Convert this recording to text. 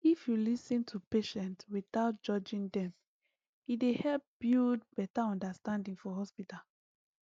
if you lis ten to patient without judging dem e dey help build better understanding for hospital